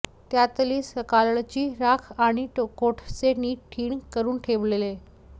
त्यातली सकाळची राख आणि कोळसे नीट ढीग करून ठेवलेले